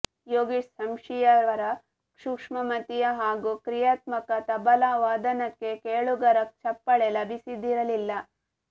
ಯೋಗೇಶ್ ಸಂಶಿಯವರ ಸೂಕ್ಷ್ಮಮತಿಯ ಹಾಗೂ ಕ್ರಿಯಾತ್ಮಕ ತಬಲಾ ವಾದನಕ್ಕೆ ಕೇಳುಗರ ಚಪ್ಪಾಳೆ ಲಭಿಸದಿರಲಿಲ್ಲ